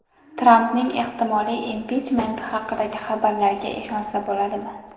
Trampning ehtimoliy impichmenti haqidagi xabarlarga ishonsa bo‘ladimi?.